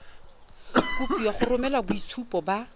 kopiwa go romela boitshupo ba